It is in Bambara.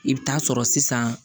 I bɛ taa sɔrɔ sisan